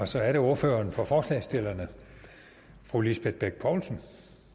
så er det ordføreren for forslagsstillerne fru lisbeth bech poulsen